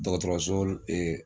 Dɔgɔtɔrɔso ee